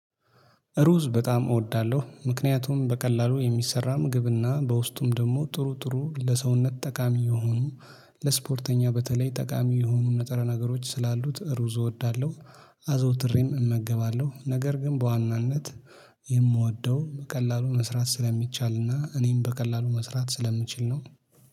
ሩዝ በጣም እወዳለሁ ምክንያቱም በቀላሉ የሚሰራ ምግብና በውስጡም ደግሞ ጥሩ ጥሩ ለሰውነት ጠቃሚ የሆኑ ለስፖርተኛ በተለይ ጠቃሚ የሆኑ ንጥረ ነገሮች ስላሉት ሩዝ እወዳለሁ። አዘውትሬም እመገባለሁ ነገር ግን በዋናነት የምወደው በቀላሉ መስራት ስለሚቻልና እኔም በቀላሉ መስራት ስለምችል ነው።